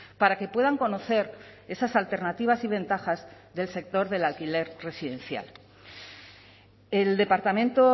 para que puedan conocer esas alternativas y ventajas del sector del alquiler residencial el departamento